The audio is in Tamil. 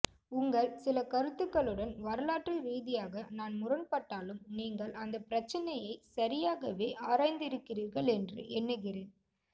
உங்கள் சில கருத்துக்களுடன் வரலாற்று ரீதியாக நான் முரண்பட்டாலும் நீங்கள் அந்த பிரச்சினையை சரியாகவே ஆராய்ந்திருக்கிறீர்கள் என்று எண்ணுகிறேன்